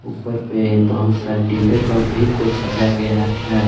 ऊपर पे बहुत सारे डिब्बे पर भी कुछ सजाया गया हैं।